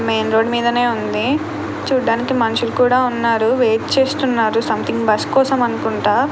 Main road మీదనే ఉంది. చూడడానికి మనుషులు కూడా ఉన్నారు. వెయిట్ చేస్తున్నారు సంథింగ్ బస్ కోసం అనుకుంటా.